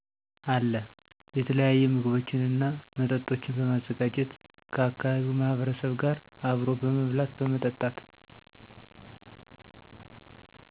አለ። የተለያዪ ምግቦችንና መጠጦችን በማዘጋጀት ከአካባቢው ማህበረሰብ ጋር አብሮ በመብላት በመጠጣት